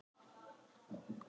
Hefðu getað komist hjá hruninu